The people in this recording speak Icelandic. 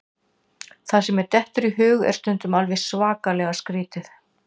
Það sem mér dettur í hug er stundum alveg svakalega skrítið.